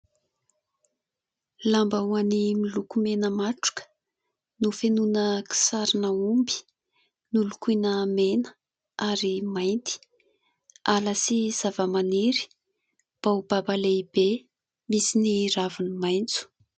Lambahoany miloko mena matroka nofenoina sarina omby, nolokoina mena ary mainty. Ala sy zavamaniry, baobab lehibe misy ny raviny maitso.